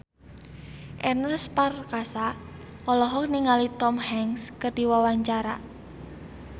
Ernest Prakasa olohok ningali Tom Hanks keur diwawancara